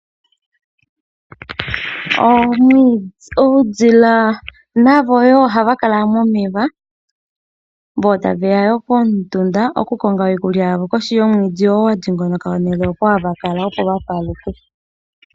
Uudhila nawo ohawu kala momeya , wo tawuya wo komutunda okukonga iikulya wawo kohi yomwiidhi ngoka gwadhingoloka omeya mohawukala opo wupaluke.